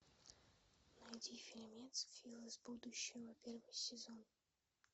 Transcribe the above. найди фильмец фил из будущего первый сезон